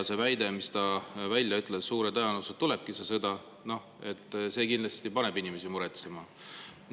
See väide, mis ta välja ütles, et suure tõenäosusega tulebki see sõda – see kindlasti paneb inimesi muretsema.